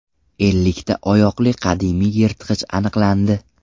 Ellikta oyoqli qadimiy yirtqich aniqlandi.